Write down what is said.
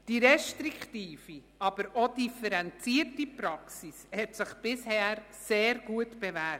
Die restriktive aber auch differenzierte Praxis hat sich bisher sehr gut bewährt.